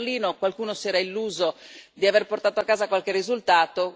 A Berlino, qualcuno si era illuso di aver portato a casa qualche risultato